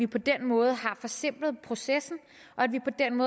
på den måde har forsimplet processen